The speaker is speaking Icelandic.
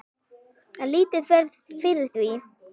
En lítið fer fyrir því.